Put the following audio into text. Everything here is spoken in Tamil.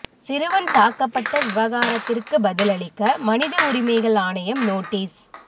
சிறுவன் தாக்கப்பட்ட விவகாரத்திற்கு பதில் அளிக்க மனித உரிமைகள் ஆணையம் நோட்டீஸ்